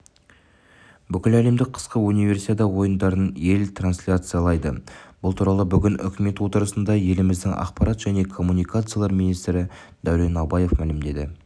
бүкіләлемдік қысқы универсиада ойындарын ел трансляциялайды бұл туралы бүгін үкімет отырысында еліміздің ақпарат және коммуникациялар министрі дәурен абаев мәлімдеді